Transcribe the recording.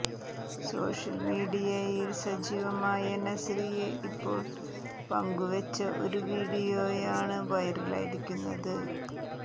social മീഡിയയിൽ സജീവമായ നസ്രിയ ഇപ്പോൾ പങ്കുവെച്ച ഒരു വിഡിയോയാണ് വൈറലായിരിക്കുന്നത്